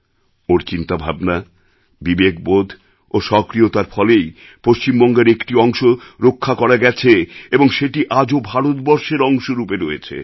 ওঁর চিন্তাভাবনা বিবেকবোধ ও সক্রিয়তার ফলেই পশ্চিমবঙ্গের একটি অংশ রক্ষা করা গেছে এবং সেটি আজও ভারতবর্ষের অংশরূপে রয়েছে